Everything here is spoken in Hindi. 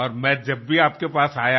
और मैं जब भी आपके पास आया